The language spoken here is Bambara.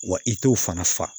Wa i t'o fana fa